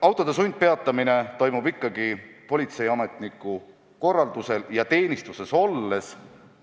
Autode sundpeatamine toimub ikkagi politseiametniku korraldusel ja teenistuses olles.